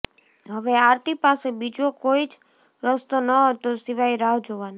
હવે આરતી પાસે બીજો કોઈ જ રસ્તો ન હતો સિવાય રાહ જોવાનો